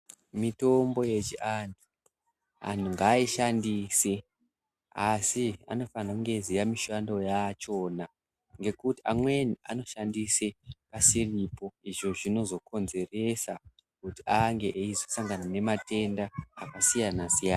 Mitombo yechianhu, anhu ngaishandise asi anofana kunge eiziya mishando yachona ngekuti amweni anoshandise asiripo izvo zvinozokonzeresa kuti ange eizosangana nematenda akasiyana-siyana.